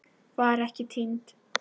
Var ekki týnd